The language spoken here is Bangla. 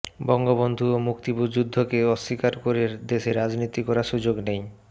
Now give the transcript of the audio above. বঙ্গবন্ধু ও মুক্তিযুদ্ধকে অস্বীকার করে দেশে রাজনীতি করার সুযোগ নেই